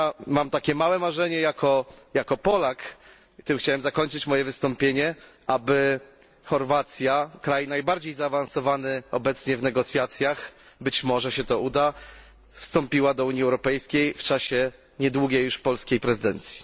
Mam takie małe marzenie jako Polak, tym chciałem zakończyć moje wystąpienie, aby Chorwacja, kraj najbardziej zaawansowany obecnie w negocjacjach, być może się to uda, wstąpiła do Unii Europejskiej w czasie nieodległej już polskiej prezydencji.